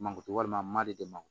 Mankutu walima madi de ma